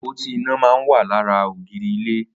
Apótí iná mà n wà làrà ógìrì ilé